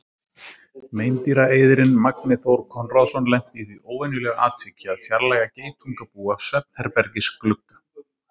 Meindýraeyðirinn Magni Þór Konráðsson lenti í því óvenjulega atviki að fjarlægja geitungabú af svefnherbergisglugga.